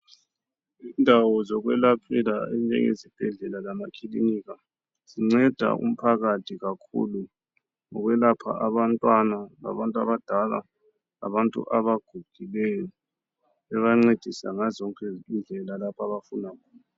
Indawo zokwelaphela ezinjenge zibhedlela lamakilinika zinceda umphakathi kakhulu ngokwelapha abantwana labantu abadala labantu abagugileyo bebancedisa ngazozonke indlela lapho abafuna khona.